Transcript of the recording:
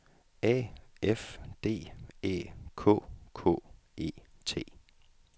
A F D Æ K K E T